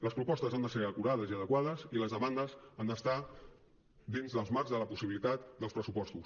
les propostes han de ser acurades i adequades i les demandes han d’estar dins dels marcs de la possibilitat dels pressupostos